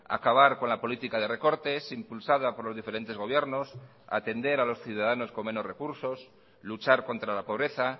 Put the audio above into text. acabar con la política de recortes impulsada por los diferentes gobiernos atender a los ciudadanos con menos recursos luchar contra la pobreza